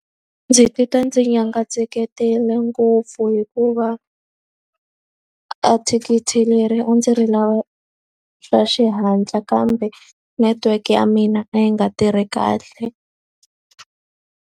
Ndzi titwa ndzi nyangatsekele ngopfu hikuva a thikithi leri a ndzi ri lava swa xihatla, kambe network ya mina a yi nga tirhi kahle.